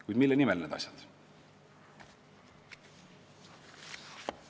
Kuid mille nimel need asjad?